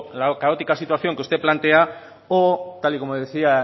la caótica situación que usted plantea o tal y como le decía